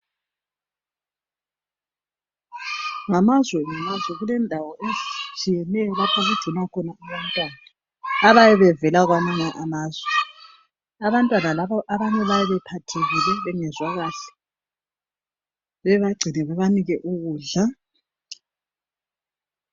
Ngamazwe ngamazwe kulendawo ezitshiyeneyo lapho okugcinwa khona abantwana abayabe bevela kwamanye amazwe, abantwana labo abanye bayabe bephathekile bengezwa kahle bebagcine bebanike ukudla